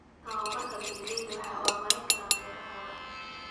Tababarka, beeralaydu waxay horumarin karaan beerahooda.